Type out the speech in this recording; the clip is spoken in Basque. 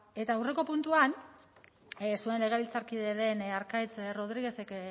eta aurreko puntuan zuen legebiltzarkide den arkaitz rodriguezek